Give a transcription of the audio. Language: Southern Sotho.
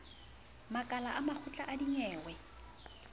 makala a makgotla a dinyewe